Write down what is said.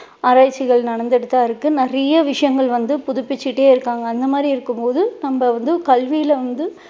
ஆராய்ச்சிகள் நடந்துட்டு தான் இருக்கு நிறைய விஷயங்கள் வந்து புதுபிச்சிட்டே இருக்காங்க அந்த மாதிரி இருக்கும் போது நம்ம வந்து கல்வியில வந்து